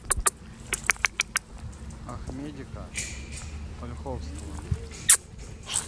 ахмедика ольховского